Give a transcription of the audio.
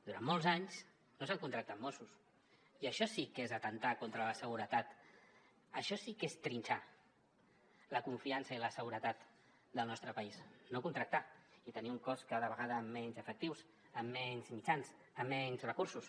durant molts anys no s’han contractat mossos i això sí que és atemptar contra la seguretat això sí que és trinxar la confiança i la seguretat del nostre país no contractar i tenir un cos cada vegada amb menys efectius amb menys mitjans amb menys recursos